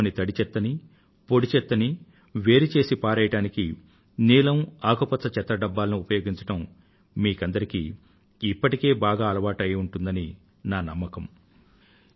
మీ ఇంట్లోని తడి చెత్తని పొడి చెత్తని వేరు చేసి పారవేయడానికి నీలం రంగు ఆకుపచ్చ రంగు చెత్త డబ్బాలను ఉపయోగించడం మీకందరికీ ఇప్పటికే బాగా అలవాటు అయి ఉంటుందని నా నమ్మకం